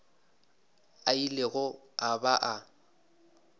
a ilego a ba a